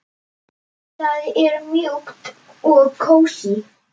Það er mjúkt og kósí.